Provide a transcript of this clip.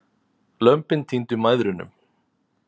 Lömbin týndu mæðrunum.